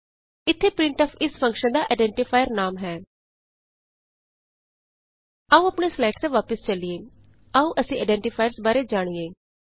ਇਥੇ ਪ੍ਰਿੰਟਫ ਇਸ ਫੰਕਸ਼ਨ ਦਾ ਆਈਡੈਂਟੀਫਾਇਰ ਨਾਮ ਹੈ ਆਉ ਆਪਣੀਆਂ ਸਲਾਈਡਸ ਤੇ ਵਾਪਸ ਚਲੀਏ ਆਉ ਅਸੀਂ ਆਈਡੈਂਟੀਫਾਇਰਸ ਬਾਰੇ ਜਾਣੀਏ